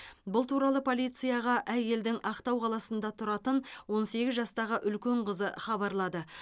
бұл туралы полицияға әйелдің ақтау қаласында тұратын он сегіз жастағы үлкен қызы хабарлады